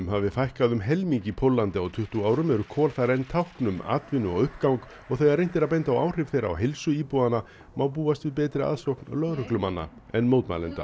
hafi fækkað um helming í Póllandi á tuttugu árum eru kol þar enn tákn um atvinnu og uppgang og þegar reynt er að benda á áhrif þeirra á heilsu íbúanna má búast við betri aðsókn lögreglumanna en mótmælenda